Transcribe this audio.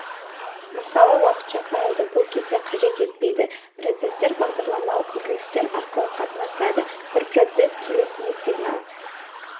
мысалы уақытша файлды бұл кезде қажет етпейді процестер бағдарламалық үзілістер арқылы қатынасады бір процесс келесіне сигнал